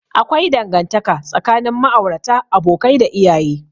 Akwai dangantaka tsakanin ma'aurata, abokai, da iyaye.